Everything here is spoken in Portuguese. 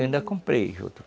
Ainda comprei juta.